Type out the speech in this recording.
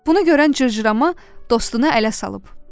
Bunu görən cırcırama dostunu ələ salıb.